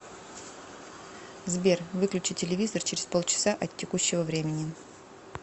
сбер выключи телевизор через полчаса от текущего времени